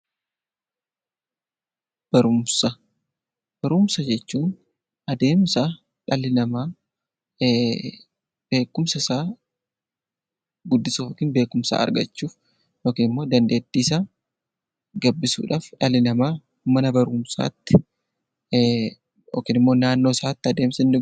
Barumsa jechuun adeemsa dhalli namaa beekumsa isaa guddisuu yookiin beekumsa argachuuf yookaan dandeettii isaa gabbisuudhaaf dhalli namaa mana barumsaatti yookiin naannoo isaatti baratudha.